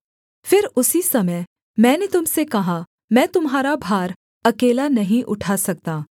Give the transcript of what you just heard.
फिर उसी समय मैंने तुम से कहा मैं तुम्हारा भार अकेला नहीं उठा सकता